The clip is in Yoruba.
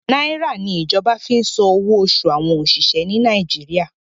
Nàìrà ni ìjọba fi san owó oṣù àwọn òṣìṣẹ́ ni Nàìjíríà.